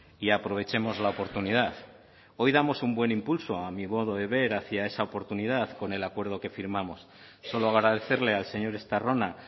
y aprovechemos la oportunidad hoy damos un buen impulso a mi modo de ver hacia esa oportunidad con el acuerdo que firmamos solo agradecerle al señor estarrona